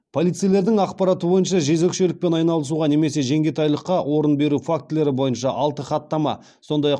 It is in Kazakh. полицейлердің ақпараты бойынша жезөкшелікпен айналысуға немесе жеңгетайлыққа орын беру фактілері бойынша алты хаттама сондай ақ